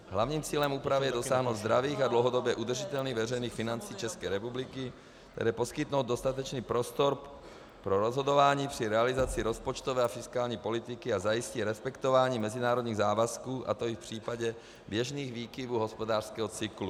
Hlavním cílem úpravy je dosáhnout zdravých a dlouhodobě udržitelných veřejných financí České republiky, které poskytnou dostatečný prostor pro rozhodování při realizaci rozpočtové a fiskální politiky a zajistí respektování mezinárodních závazků, a to i v případě běžných výkyvů hospodářského cyklu.